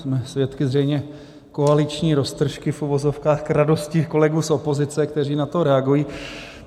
Jsme svědky zřejmě koaliční roztržky, v uvozovkách, k radosti kolegů z opozice, kteří na to reagují.